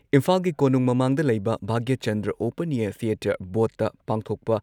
ꯏꯝꯐꯥꯜꯒꯤ ꯀꯣꯅꯨꯡ ꯃꯃꯥꯡꯗ ꯂꯩꯕ ꯚꯥꯒ꯭ꯌꯆꯟꯗ꯭ꯔ ꯑꯣꯄꯟ ꯑꯦꯌꯥꯔ ꯊꯤꯌꯦꯇꯔ ꯕꯣꯗꯇ ꯄꯥꯡꯊꯣꯛꯄ